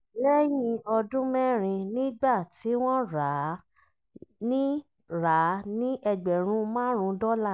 lẹ́yìn ọdún mẹ́rin nígbà tí wọ́n rà á ní rà á ní ẹgbẹ̀rún márùn dọla